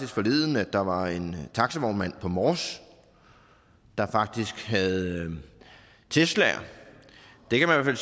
forleden at der var en taxavognmand på mors der faktisk havde teslaer og det kan man